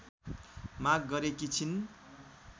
माग गरेकी छिन्।